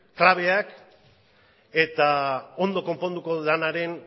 klabeak eta ondo konponduko dudanaren